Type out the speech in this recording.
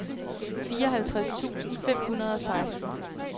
fireoghalvtreds tusind fem hundrede og seksten